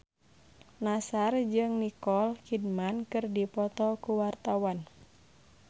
Nassar jeung Nicole Kidman keur dipoto ku wartawan